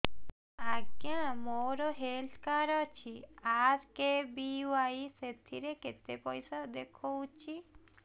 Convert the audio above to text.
ଆଜ୍ଞା ମୋର health card ଅଛି ଆର୍.କେ.ବି.ୱାଇ ସେଥିରେ କେତେ ପଇସା ଦେଖଉଛି